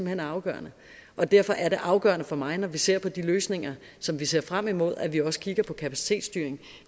hen er afgørende og derfor er det afgørende for mig når vi ser på de løsninger som vi ser frem mod at vi også kigger på kapacitetsstyringen